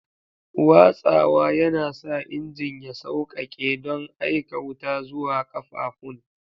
Watsawa yana sa injin ya sauƙaƙe don aika wuta zuwa ƙafafun.